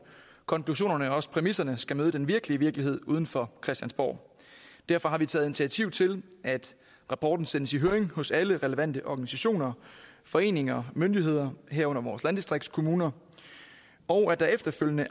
konklusionerne og også præmisserne skal møde den virkelige virkelighed uden for christiansborg derfor har vi taget initiativ til at rapporten sendes i høring hos alle relevante organisationer foreninger og myndigheder herunder vores landdistriktskommuner og at der efterfølgende